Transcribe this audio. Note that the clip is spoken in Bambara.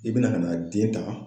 I be na ka na den ta